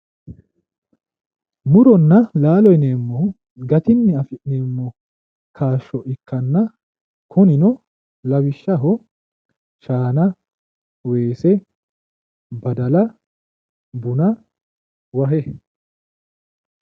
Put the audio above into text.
Muronna laalo yinneemmohu gatinni afi'neemmo kaashsho ikkanna kunino lawishshaho shaana weese baddala, buna wahe